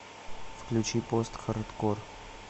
включи постхардкор